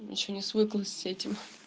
ещё не свыклась с этим